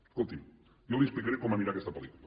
escolti’m jo li explicaré com anirà aquesta pel·lícula